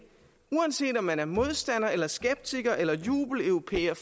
uanset om man er modstander skeptiker eller jubeleuropæer